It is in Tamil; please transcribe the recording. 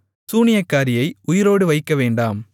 சூனியக்காரியை உயிரோடு வைக்கவேண்டாம்